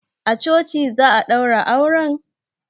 A coci za a daura auren?